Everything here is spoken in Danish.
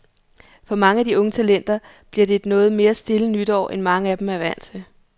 For mange af de unge talenter bliver det et noget mere stille nytår, end mange af dem er vant til.